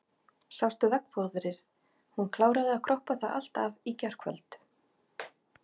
Sástu veggfóðrið, hún kláraði að kroppa það allt af í gærkvöld.